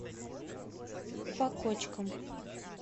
по кочкам